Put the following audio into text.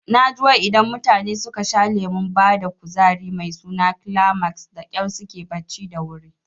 Naji wai idan mutane suka sha lemon bada kuzari mai suna Climax dakyar suke barci da wuri